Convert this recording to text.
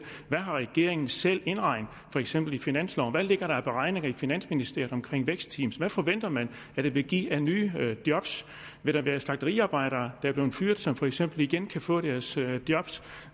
hvad har regeringen selv indregnet for eksempel i finansloven hvad ligger der af beregninger i finansministeriet om vækstteam hvad forventer man det vil give af nye job vil der være slagteriarbejdere er blevet fyret som for eksempel igen kan få deres job